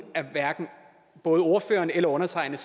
hverken ordføreren eller undertegnede